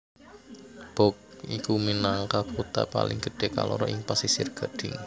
Bouaké iku minangka kutha paling gedhé kaloro ing Pasisir Gadhing